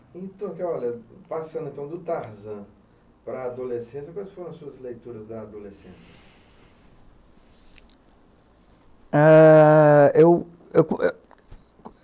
Então, que olha, passando então do Tarzan para a adolescência, quais foram as suas leituras da adolescência? Eh, eu, eu